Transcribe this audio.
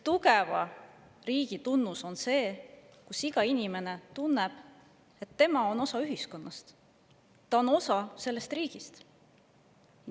Tugeva riigi tunnus on see, kui iga inimene tunneb, et tema on osa ühiskonnast, ta on osa sellest riigist.